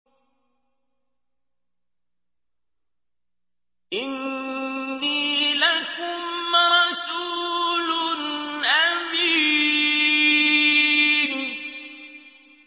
إِنِّي لَكُمْ رَسُولٌ أَمِينٌ